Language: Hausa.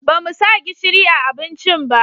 Ba mu sa gishiri a abincin ba